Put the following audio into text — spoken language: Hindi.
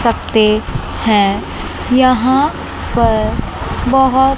पे हैं। यहां पर बहोत--